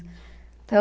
Então...